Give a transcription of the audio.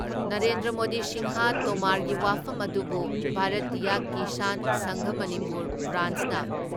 ꯅꯔꯦꯟꯗ꯭ꯔ ꯃꯣꯗꯤ ꯁꯤꯡꯍ ꯇꯣꯃꯥꯔꯒꯤ ꯋꯥꯐꯝ ꯑꯗꯨꯕꯨ ꯚꯥꯔꯠꯇꯤꯌꯥ ꯀꯤꯁꯥꯟ ꯁꯪꯘ ꯃꯅꯤꯄꯨꯔ ꯕ꯭ꯔꯥꯟꯁꯅ